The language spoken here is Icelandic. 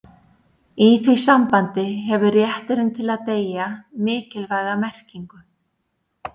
í því sambandi hefur rétturinn til að deyja mikilvæga merkingu